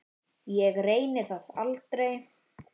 Ég reyni það aldrei.